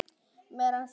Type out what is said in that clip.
Mér rann það til rifja.